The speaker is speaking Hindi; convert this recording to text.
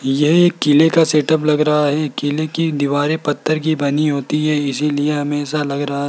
यह एक किले का सेटअप लग रहा है किले की दीवारें पत्थर की बनी होती है इसीलिए हमे ऐसा लग रहा --